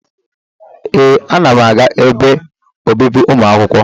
Ee, ana m aga ebe obibi ụmụ akwụkwọ.